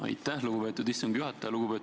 Aitäh, lugupeetud istungi juhataja!